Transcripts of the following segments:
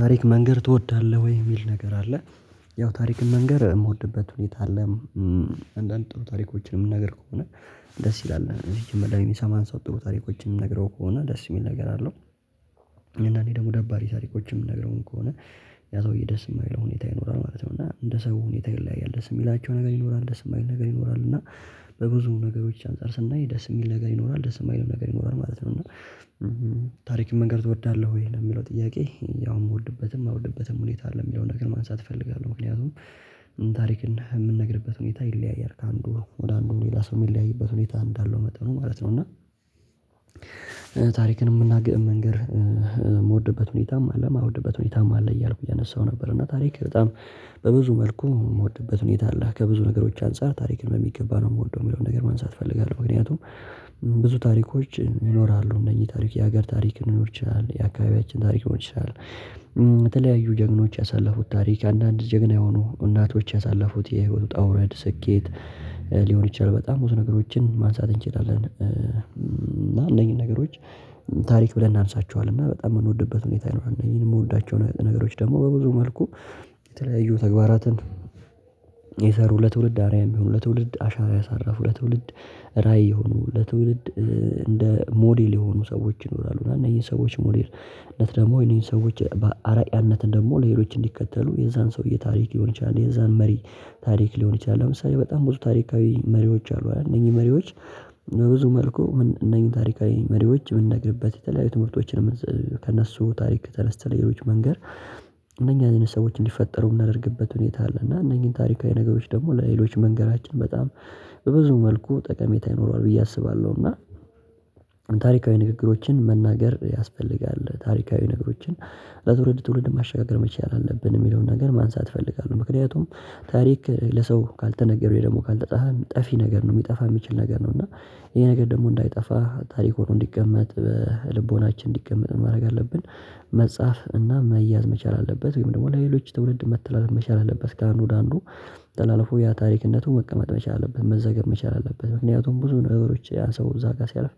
ታሪክ መንገር ትወዳለህ ወይ? የሚል ነገር አለ ያው ታሪክን መንገር የምወድበት ሁኔታ አለ። አንዳንድ ጥሩ ታሪኮችን የምንናገር ከሆነ ደስ ይላል እነዚህ መጀመሪያ የሚሰማን ሰው ጥሩ ታሪኮችን የምንነግረው ከሆነ ደስ የሚል ነገር አለው። እና እኔ ደግሞ ደባሪ ታሪኮች የምንነግረውም ከሆነ ያ ሰውዬ ደስ የማይለው ሁኔታ ይኖራል ማለት ነው። እና እንደ ሰው ሁኔታ ይለያያል ደስ የሚላቸው ነገር ይኖራል ደስ የማይል ነገር ይኖራል እና። በብዙ ነገሮች አንፃር ስናይ ደስ የሚል ነገር ይኖራል ደስ የማይልም ነገር ይኖራል ማለት ነው። እና ታሪክን መንገር ትወዳለህ ወይ የሚለው ጥያቄ? ያው የምወድበትም የማልወድበትም ሁኔታ አለ የሚለውን ነገር ማንሳት እፈልጋለሁ። ምክንያቱም ታሪክ የምንነግርበት ሁኔታ ይለያያል ከአንዱ ወደ አንዱ ሌላ ሰው የሚለያይበት ሁኔታ እንዳለው መጠኑ ማለት ነው። እና ታሪክን የምናገር መንገር። የምወድበትም ሁኔታም አለ የማልወድበት ሁኔታም አለ እያልኩ እያነሳሁ ነበር። እና ታሪክ በጣም በብዙ መልኩ የምወድበት ሁኔታ አላህ ከብዙ ነገሮች አንፃር ታሪክን በሚገባ ነው የምወደው የሚለውን ነገር መንሳት እፈልጋለሁ። ምክንያቱም ብዙ ታሪኮች ይኖራሉ እነዚህ ታሪክ የሀገር ታሪክ ሊኖር ይችላል፣ የአካባቢያችን ታሪክ ሊሆን ይችላል። በተለያዩ ጀግኖች ያሳለፉት ታሪክ አንዳንድ ጀግና የሆኑ እናቶች ያሳለፉት የህይወቱ ውጣ ውረድ ስኬት ሊሆን ይችላል። በጣም ብዙ ነገሮችን ማንሳት እንችላለን። እና እንደኛው ነገሮች ታሪክ ብለን እናነሳቸዋለን እና በጣም የምንወድበት ሁኔታ ይኖራል። እነዚህን የምወዳቸው ነገሮች ደግሞ በብዙ መልኩ የተለያዩ ተግባራትን የሰሩ ለትውልድ አርያም የሆኑ ለትውልድ አሻራ ያሳረፉ ለትውልድ ራዕይ የሆኑ ለትውልድ እንደ ሞዴል የሆኑ ሰዎች ይኖራሉ። እና እነዚህ ሰዎች ሞዴልነት ደግሞ እነዚህ ሰዎች በአራያነት ደግሞ ሌሎች እንዲከተሉ የዛን ሰውዬ ታሪክ ሊሆን ይችላል። የዛን መሪ ታሪክ ሊሆን ይችላል። ለምሳሌ በጣም ብዙ ታሪካዊ መሪዎች አሉ። እነኚህ መሪዎች በብዙ መልኩ እነኚህ ታሪካዊ መሪዎች የምንነግርበት የተለያዩ ትምህርቶችን ከእነሱ ታሪክ ተነስተን ለሌሎች መንገር እነኛ አይነት ሰዎች እንዲፈጠሩ ምናደርግበት ሁኔታ አለ። እና እነኚህን ታሪካዊ ነገሮች ደግሞ ለሌሎች መንገራችን በጣም በብዙ መልኩ ጠቀሜታ ይኖረዋል ብዬ አስባለሁ። እና ታሪካዊ ንግግሮችን መናገር ያስፈልጋል ታሪካዊ ነገሮችን ለትውልድ ትውልድ ማሸጋገር መቻል አለብን የሚለውን ነገር ማንሳት እፈልጋለሁ። ምክንያቱም ታሪክ ለሰው ካልተነገረው ደግሞ ካልተጻፈ ጠፊ ነገር ነው የሚጠፋ የሚችል ነገር ነው። እና ይሄ ነገር ደግሞ እንዳይጠፋ ታሪክ ሆኖ እንዲቀመት በልቦናችን እንዲቀመጥ ማድረግ አለብን። መጻፍ እና መያዝ መቻል አለበት ወይም ደግሞ ለሌሎች ትውርድ መተላለፍ መቻል አለበት። ከአንዱ ወደ አንዱ ተላልፎ ያ ታሪክነቱ መቀመጥ መቻል አለበት። መዘገብ መቻል አለበት ምክንያቱም ብዙ ነገሮች ያ ሰው እዛ ጋር ሲያልፍ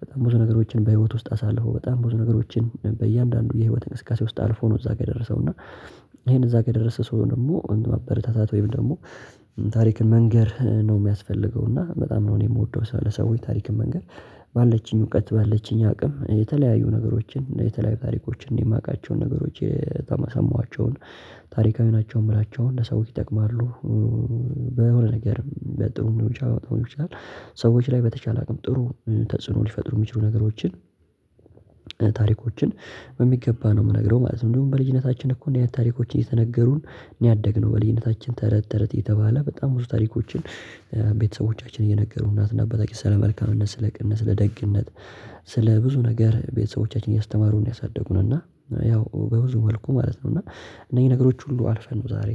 በጣም ብዙ ነገሮችን በህይወት ውስጥ አሳልፎ በጣም ብዙ ነገሮችን በእያንዳንዱ የህይወት እንቅስቃሴ ውስጥ አልፎ ነው። እዛ ጋር የደረሰው እና ይሄን እዛ የደረሰ ሰው ደግሞ እንደማበረታታት ወይም ደግሞ ታሪክን መንገር ነው የሚያስፈልገው። እና በጣም ነው እኔ የምወደው ሰው ለሰዎች ታሪክ መንገር ባለችኝ እውቀት ባለችኝ አቅም የተለያዩ ነገሮችን የተለያዩ ታሪኮችን የማቃቸዉን ነገሮች የተመ የሰማኋቸውን ታሪካዊ ናቸው የምላቸውን ለሰዎች ይጠቅማሉ። በሆነ ነገር በጥሩ ሊሆን ይችላል በመጥፎም ሊሆን ይችላል። ሰዎች ላይ በተቻለ አቅም ጥሩ ተጽዕኖ ሊፈጥሩ የሚችሉ ነገሮችን ታሪኮችን በሚገባ ነው የምነግረው ማለት ነው። እንደውም በልጅነታችን እኮ እንደዚህ አይነት ታሪኮችን እየተነገሩን እኔ ያደግነው በልጅነታችን ተረት ተረት እየተባለ በጣም ብዙ ታሪኮችን ቤተሰቦቻችን እየነገሩን እናትና እና አባታችን ስለ መልካምነት ስለ ቅንነት ስለ ደግነት ስለ ብዙ ነገር ቤተሰቦቻችን እያስተማሩ ነው። ያሳደጉን እና ያው በብዙ መልኩ ማለት ነው። እና እነዚህ ነገሮች ሁሉ አልፈን ነው ዛሬ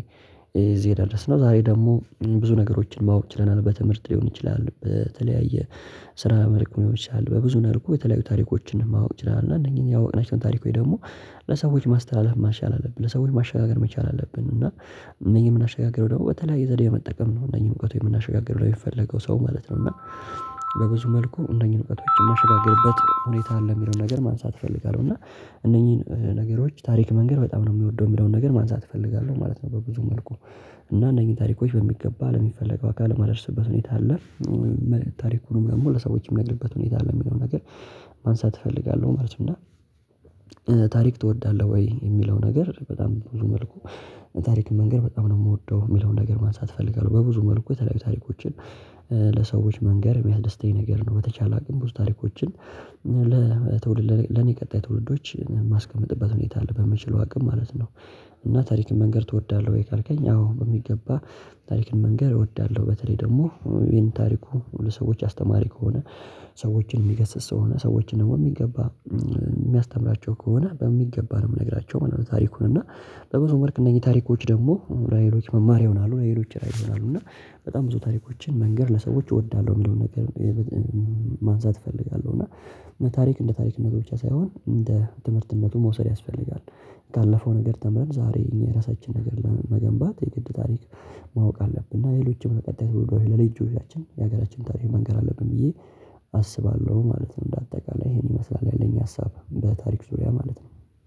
እዚህ የደረስነው ዛሬ ደግሞ ብዙ ነገሮችን ማወቅ ችለናል። በትምህርት ሊሆን ይችላል በተለያየ ስራ መልኩ ሊሆን ይችላል። በብዙ ነገር እኮ የተለያዩ ታሪኮችን ማወቅ ይችላል። እና እነኚህን ያወቅናቸውን ታሪኮች ደግሞ ለሰዎች ማስተላለፍ መቻል አለብን። ለሰዎች ማሸጋገር መቻል አለብን። እና እነኚህ የምናሸጋግረው ደግሞ በተለያየ ዘዴ በመጠቀም ነው። እነኚህ እውቀቱ የምናሸጋግረው ለሚፈልገው ሰው ማለት ነው። እና በብዙ መልኩ እነኚህን እውቀቶች የማሸጋገርበት ሁኔታ አለ የሚለውን ነገር ማንሳት እፈልጋለሁ። እና እነኚህን ነገሮች ታሪክ መንገር በጣም ነው የምወደው የሚለውን ነገር ማንሳት እፈልጋለሁ ማለት ነው። በብዙ መልኩ እና እነኚህን ታሪኮች በሚገባ ለሚፈለገው አካል የማደርስበት ሁኔታ አለ። ታሪኩንም ደግሞ ለሰዎች የሚነግርበት ሁኔታ አለ የሚለውን ነገር ማንሳት እፈልጋለሁ። ማለት ነው። ታሪክ ትወዳለህ ወይ? የሚለው ነገር በጣም ብዙ መልኩ ታሪክ መንገር በጣም ነው የምወደው የሚለውን ነገር ማንሳት እፈልጋለሁ። በብዙ መልኩ የተለያዩ ታሪኮችን ለሰዎች መንገር የሚያስደስተኝ ነገር ነው። በተቻለ አቅም ብዙ ታሪኮችን ለትውልድ ለኔ ቀጣይ ትውልዶች የማስቀመጥበት ሁኔታ አለ በምችለው አቅም ማለት ነው። እና ታሪክን መንገር ትወዳለህ ወይ? ካልከኝ አዎ በሚገባ ታሪክን መንገር እወዳለሁ። በተለይ ደግሞ ይሄን ታሪኩ ለሰዎች አስተማሪ ከሆነ ሰዎችን የሚገስጽ ሰው ከሆነ ሰዎችን ደግሞ የሚገባ የሚያስተምራቸው ከሆነ በሚገባ ነው የምነግራቸው ማለት ነው። ታሪኩን እና በብዙ መልክ እነዚህ ታሪኮች ደግሞ ለሌሎች መማር ይሆናሉ። ለሌሎች ራዕይ ይሆናሉ። እና በጣም ብዙ ታሪኮችን መንገር ለሰዎች እወዳለሁ የሚለውን ነገር ማንሳት እፈልጋለሁ። እና ታሪክ እንደ ታሪክነቱ ብቻ ሳይሆን እንደ ትምህርትነቱ መውሰድ ያስፈልጋል። ካለፈው ነገር ተምረን ዛሬ እኛ የራሳችንን ነገር ለመገንባት የግድ ታሪክ ማወቅ አለብን። እና ሌሎችም ለቀጣይ ትውልዶች ለሌሎች ልጆች የሀገራችንን ታሪክ መንገር አለብን። ብዬ አስባለሁ ማለት ነው። እንደ አጠቃላይ ይሄን ይመስላል ያለኝ ሀሳብ በታሪክ ዙሪያ ማለት ነው።